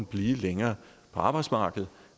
blive længere på arbejdsmarkedet